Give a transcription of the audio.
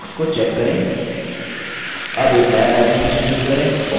अब एक now typing session शुरू करें और typing का अभ्यास करें